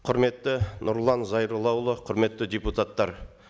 құрметті нұрлан зайроллаұлы құрметті депутаттар